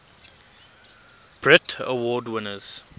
brit award winners